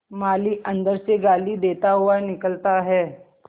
माली अंदर से गाली देता हुआ निकलता है